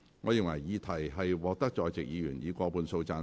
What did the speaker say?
我認為議題獲得在席議員以過半數贊成。